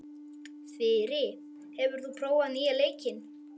Þyri, hefur þú prófað nýja leikinn?